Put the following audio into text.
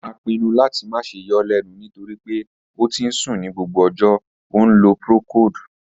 A pinnu lati ma ṣe yọ ọ lẹnu nitori pe o ti n sun ni gbogbo ọjọ, o nlo procold.